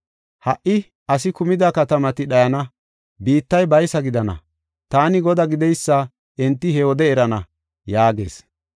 Ha77i asi kumida katamati dhayana; biittay baysa gidana. Taani Godaa gideysa enti he wode erana’ ” yaagees.